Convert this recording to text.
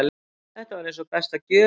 Þetta var eins og besta gjöf.